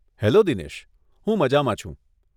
Hello Dinesh, હું મજામાં છું.